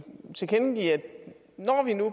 tilkendegive at når vi nu